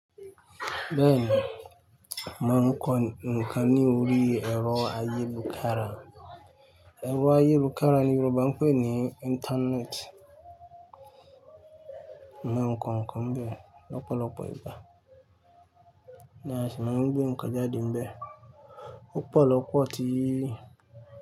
Bẹ́ẹ̀ni, mo ma ń kọ nǹkan ní orí ẹ̀rọ ayélujára. Ẹ̀rọ ayélujára ni Yorùbá ń pè ní Íńtánẹ́ẹ̀tì. Mo ń kọ nǹkan bẹ́ẹ̀ lọ́pọ̀lọpọ̀ ìgbà. Bí à ti ń sọ, mo ń gbé ǹkan jáde níbẹ̀. Ó pọ̀ lọ́pọ̀ tí.